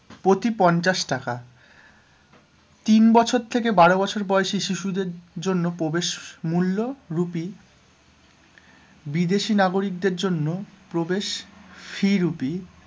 প্রতি পঞ্চাশ টাকা তিন বছর থেকে বারো বছর বয়সী শিশুদের জন্য প্রবেশ মূল্য rupee বিদেশী নাগরিকদের জন্য প্রবেশ fee rupee